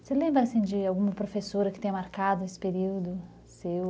Você lembra de alguma professora que tenha marcado esse período seu?